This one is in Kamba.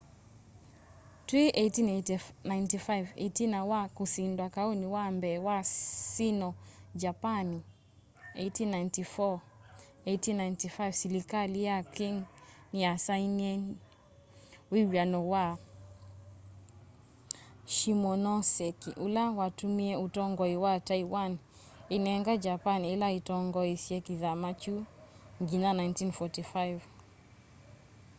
twi 1895 itina wa kusindwa kauni wa mbee wa sino-japani 1894-1895 silikali ya qing niyasainiie wiw'ano wa shimonoseki ula watumie utongoi wa taiwan inenga japani ila itongoesya kithama kyu nginya 1945